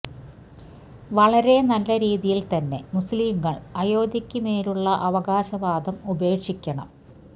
വളരെ നല്ല രീതിയിൽ തന്നെ മുസ്ലിംങ്ങൾ അയോധ്യയ്ക്ക് മേലുള്ള അവകാശവാദം ഉപേക്ഷിക്കണം